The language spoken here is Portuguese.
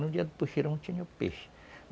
No dia do puxirum tinha peixe.